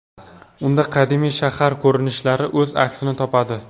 Unda qadimiy shahar ko‘rinishlari o‘z aksini topadi.